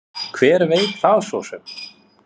Hver veit það svo sem.